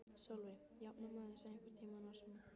Sólveig: Jafnar maður sig einhvern tímann á svona?